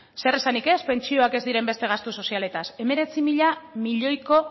zeresanik ez pentsioak ez diren beste gastu sozialetaz hemeretzi mila milioiko